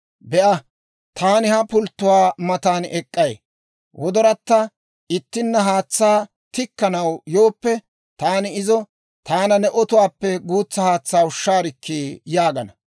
Be'a; taani ha pulttuwaa matan ek'k'ay; gellayatta ittina haatsaa tikkanaw yooppe, taani izo, «Taana ne otuwaappe guutsa haatsaa ushshaarikkii!» yaagana.